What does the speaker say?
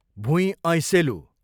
भुइँ ऐँसेलु